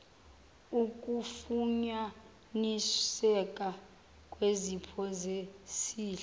ukufunyaniseka kwezipho zesihle